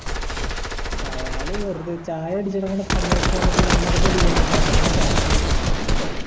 അയാൾ വെറുതെ ചായ അടിച്ചോണ്ടിരിക്കണ സമയത്ത് കണ്ടപ്പോ നമ്മക്ക് ഇട്ട് അടിക്കെന്ന് അതാണ് സോമാ നമ്മുടെ പ്രധാന മന്ത്രി